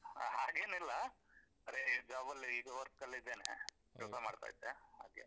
ಹಾಗೇನಿಲ್ಲ ರೆ job ಅಲ್ಲಿ ಇದು work ಅಲ್ಲೇ ಇದ್ದೇನೆ ಕೆಲ್ಸ ಮಾಡ್ತಾ ಇದ್ದೆ ಹಾಗೆ.